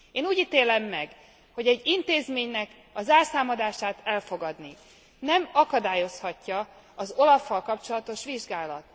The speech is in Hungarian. Én úgy ítélem meg, hogy egy intézménynek a zárszámadásának elfogadását nem akadályozhatja az OLAF fal kapcsolatos vizsgálat.